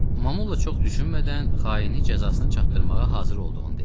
Mamulla çox düşünmədən xaini cəzasına çatdırmağa hazır olduğunu dedi.